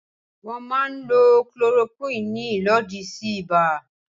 Wọ́n máa ń lo Chloroquine ní ìlòdì sí ibà.